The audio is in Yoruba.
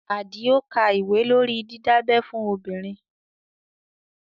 Àdìó ka ìwé lórí didabẹ́ fún obìnrin